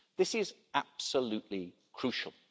This is absolutely crucial.